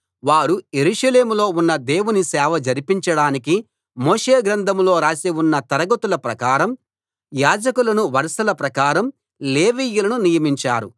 వారు యెరూషలేములో ఉన్న దేవుని సేవ జరిపించడానికి మోషే గ్రంథంలో రాసి ఉన్న తరగతుల ప్రకారం యాజకులను వరసల ప్రకారం లేవీయులను నియమించారు